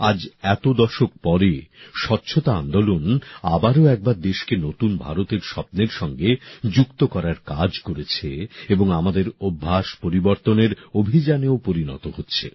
আজ এত দশক পরে স্বচ্ছতা আন্দোলন আবারও একবার দেশকে নতুন ভারতের স্বপ্নের সঙ্গে যুক্ত করার কাজ করেছে এবং আমাদের অভ্যাস পরিবর্তনের অভিযানেও পরিণত হচ্ছে